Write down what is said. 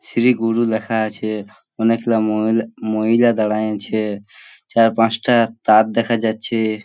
শ্রী গুরু লেখা আছে অনেকগুলা মহিলা মহিলা দাঁড়ায় আছে চার পাঁচটা তার দেখা যাচ্ছে।